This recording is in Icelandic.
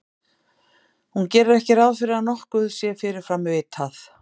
Hún gerir ekki ráð fyrir að nokkuð sé fyrirfram vitað.